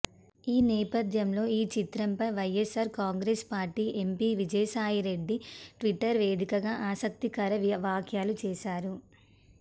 ఈ నేపథ్యంలో ఈ చిత్రంపై YSR Congress party MP Vijayasai Reddy Twitter వేదికగా ఆసక్తికర వ్యాఖ్యలు చేశారు